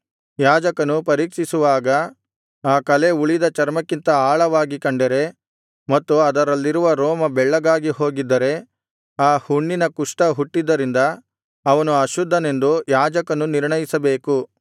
ಯಾಜಕನು ಪರೀಕ್ಷಿಸುವಾಗ ಆ ಕಲೆ ಉಳಿದ ಚರ್ಮಕ್ಕಿಂತ ಆಳವಾಗಿ ಕಂಡರೆ ಮತ್ತು ಅದರಲ್ಲಿರುವ ರೋಮ ಬೆಳ್ಳಗಾಗಿ ಹೋಗಿದ್ದರೆ ಆ ಹುಣ್ಣಿನಲ್ಲಿ ಕುಷ್ಠ ಹುಟ್ಟಿದ್ದರಿಂದ ಅವನು ಅಶುದ್ಧನೆಂದು ಯಾಜಕನು ನಿರ್ಣಯಿಸಬೇಕು